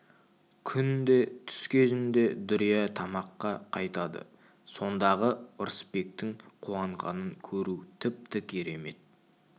күнде түс кезінде дүрия тамаққа қайтады сондағы ырысбектің қуанғанын көру тіпті керемет